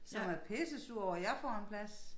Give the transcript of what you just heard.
Som er pissesure over jeg får en plads